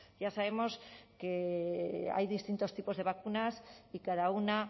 ya sabemos que hay distintos tipos de vacunas y cada una